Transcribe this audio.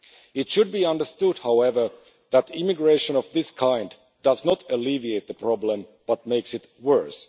It should be understood, however, that immigration of this kind does not alleviate the problem, but makes it worse.